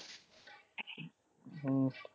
ਹਮ